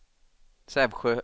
Sävsjö